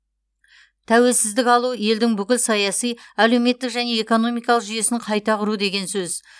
тәуелсіздік алу елдің бүкіл саяси әлеуметтік және экономикалық жүйесін қайта құру деген сөз